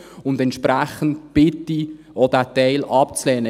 Und entsprechend bitte ich, auch diesen Teil abzulehnen.